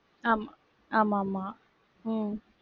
ஆமா, ஆமாம்மா, உம்